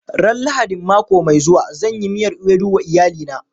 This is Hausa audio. Ran Lahadin mako mai zuwa, zan yi miyar ewedu wa iyalina.